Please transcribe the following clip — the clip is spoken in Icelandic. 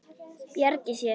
Bjargi sér.